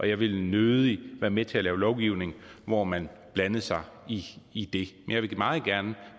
jeg vil nødig være med til at lave lovgivning hvor man blandede sig i det jeg vil meget gerne